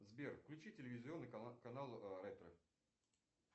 сбер включи телевизионный канал ретро